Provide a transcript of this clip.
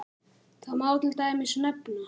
Þar má til dæmis nefna